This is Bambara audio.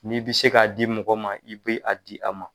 N'i be se ka di mɔgɔ ma, i b'a di a ma.